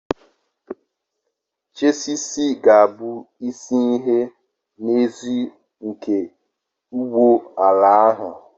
Chassisi ga-abụ isi ihe nhazi nke ụgbọ ala ahụ.